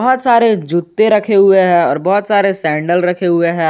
बहुत सारे जूते रखे हुए हैं और बहुत सारे सैंडल रखे हुए हैं।